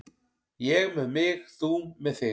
Ég með mig, þú með þig.